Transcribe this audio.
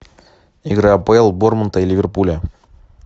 игра апл борнмута и ливерпуля